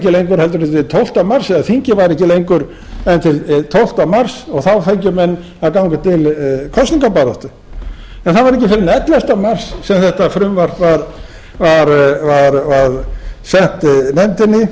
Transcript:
en til tólfta mars eða þingið væri ekki lengur en til tólfta mars og þá fengju menn að ganga til kosningabaráttu en það var ekki fyrr en ellefta mars sem þetta frumvarp var sent nefndinni